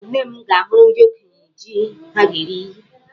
Nne m ga-ahụrụ ndị okenye jí ha ga-eri.